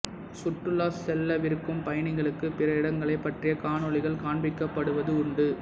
சுற்றுலா செல்லவிருக்கும் பயணிகளுக்கு பிற இடங்களைப் பற்றிய காணொளிகள் காண்பிக்கப்படுவது உண்டு